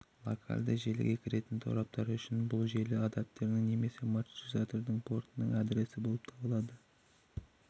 локальды желіге кіретін тораптар үшін бұл желі адаптердің немесе маршрутизатор портының адресі болып табылады